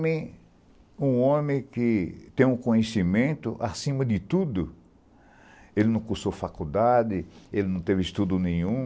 um homem que tem um conhecimento acima de tudo, ele não cursou faculdade, ele não teve estudo nenhum,